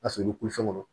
A sɔrɔli kulu fɛn kɔnɔ